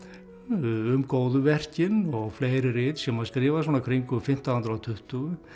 um góðverkin og fleiri rit sem hann skrifar svona kringum fimmtán hundruð og tuttugu